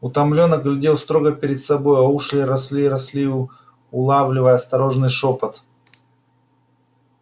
утомлённо глядел строго перед собой а уши росли и росли улавливая осторожный шёпот